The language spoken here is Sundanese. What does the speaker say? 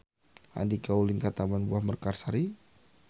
Andika ulin ka Taman Buah Mekarsari